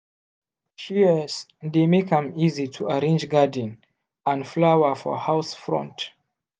shears dey make am easy to arrange garden and flower for house front.